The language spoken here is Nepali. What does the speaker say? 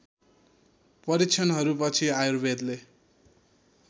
परीक्षणहरू पछि आयुर्वेदले